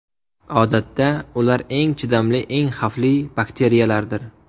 Odatda, ular eng chidamli, eng xavfli bakteriyalardir.